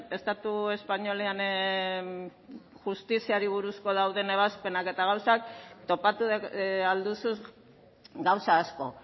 estatu espainolean justiziari buruzko dauden ebazpenak eta gauzak topatu ahal duzu gauza asko